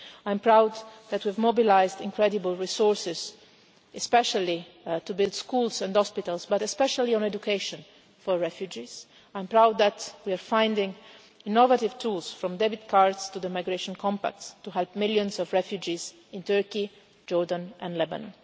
I'm proud that we've mobilised incredible resources, especially to build schools and hospitals but especially on education for refugees. I'm proud that we're finding innovative tools, from debit cards to the migration compacts, to help millions of refugees in Turkey, Jordan and Lebanon.